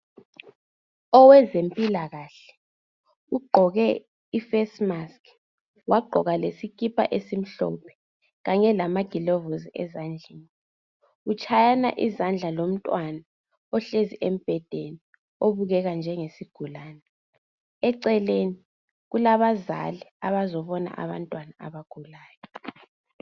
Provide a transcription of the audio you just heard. owezempilakhle ugqoke i face mask wagqoka lesikipa esimhlophe kanye lamagilovosi esandleni utshayana izandla lomntwana ohlezi embhedeni obukeka njengesigulane eceleni kulabazali abazobona abantwana abagulayo